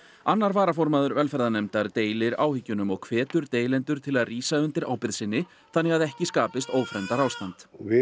annar varaformaður velferðarnefndar deilir áhyggjunum og hvetur deilendur til að rísa undir ábyrgð sinni þannig að ekki skapist ófremdarástand við